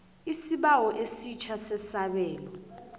isibawo esitjha sesabelo